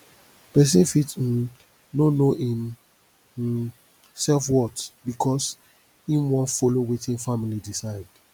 pesin fit um no no im um selfworth bikos im wan follow wetin family decide